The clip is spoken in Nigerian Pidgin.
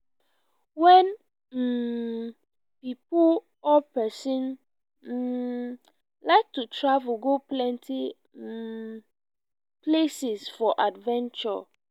wen um pipo or person um like to travel go plenty um places for adventure